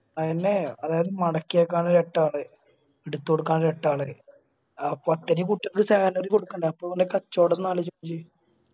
അയ്യെന്നെ അതായത് മടക്കിവെക്കാൻ ഒരു എട്ട് ആള് എടുത്തുകൊടുക്കാൻ ഒരു എട്ടാള്, അപ്പൊ അത്തേരിയും കുട്ടികൾക്ക് salary കൊടുക്കണ്ടേ അപ്പൊ ഓലെ കച്ചോടം ഒന്നാലോചിക്ക്